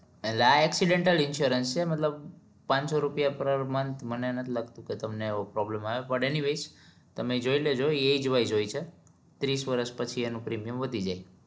એટલે આ accidental insurance છે મતલબ પાંચસો રૂપિયા પ્રર month મને નથ લાગતું કે તમને problem આવે but એની વે તમે જોઈ લેજો વિસે હોય છે ત્રીસ વર્ષ પછી એનું premium વધી જાય